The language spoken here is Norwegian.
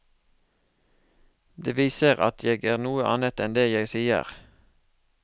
Det viser at jeg er noe annet enn det jeg sier.